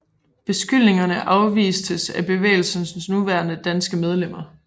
Beskyldningerne afvistes af bevægelsens nuværende danske medlemmer